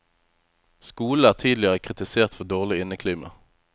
Skolen er tidligere kritisert for dårlig inneklima.